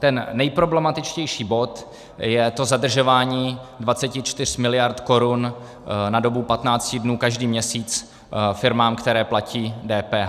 Ten nejproblematičtější bod je to zadržování 24 miliard korun na dobu 15 dnů každý měsíc firmám, které platí DPH.